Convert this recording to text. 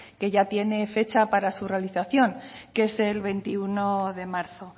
que ya tiene fecha para su realización que es el veintiuno de marzo